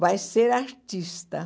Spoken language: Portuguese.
Vai ser artista.